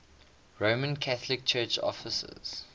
roman catholic church offices